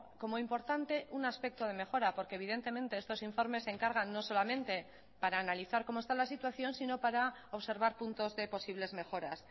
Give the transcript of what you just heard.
como importante un aspecto de mejora porque evidentemente estos informes se encargan no solamente para analizar cómo está la situación sino para observar puntos de posibles mejoras